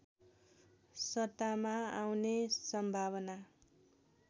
सत्तामा आउने सम्भावना